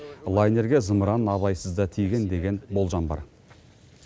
лайнерге зымыран абайсызда тиген деген болжам бар